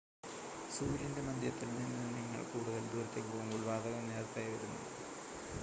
സൂര്യൻ്റെ മധ്യത്തിൽ നിന്ന് നിങ്ങൾ കൂടുതൽ ദൂരത്തേക്ക് പോകുമ്പോൾ വാതകം നേർത്തതായി വരുന്നു